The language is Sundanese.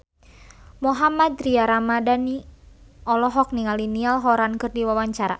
Mohammad Tria Ramadhani olohok ningali Niall Horran keur diwawancara